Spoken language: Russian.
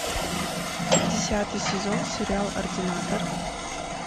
десятый сезон сериал ординатор